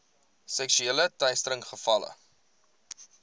seksuele teistering gevalle